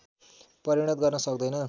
परिणत गर्न सक्दैन